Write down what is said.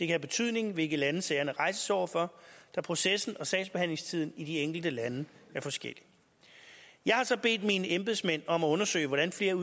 have betydning hvilke lande sagerne rejses over for da processen og sagsbehandlingstiden i de enkelte lande er forskellig jeg har så bedt mine embedsmænd om at undersøge hvordan flere